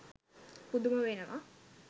පුදුම වෙනවා.